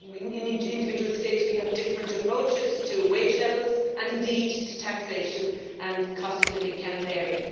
In individual states we have different approaches to wage levels, and indeed to taxation, and the cost of living can vary.